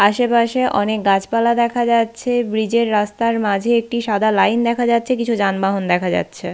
আশেপাশে অনেক গাছপালা দেখা যাচ্ছে। ব্রিজ এর রাস্তার মাঝে একটি সাদা লাইন দেখা যাচ্ছে। কিছু যানবাহন দেখা যাচ্ছে।